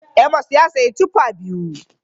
Amos ya sayi tuffa biyu.